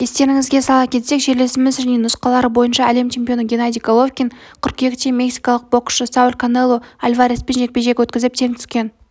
естеріңізге сала кетсек жерлесіміз және нұсқалары бойынша әлем чемпионы геннадий головкин қыркүйекте мексикалық боксшы сауль канело альвареспен жекпе-жек өткізіп тең түскен